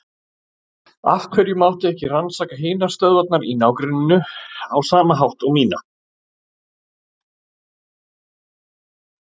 Af hverju mátti ekki rannsaka hinar stöðvarnar í ná- grenninu á sama hátt og mína?